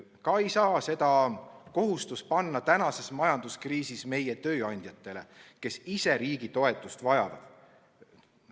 Ka ei saa seda kohustust panna praeguses majanduskriisis meie tööandjatele, kes ise riigi toetust vajavad.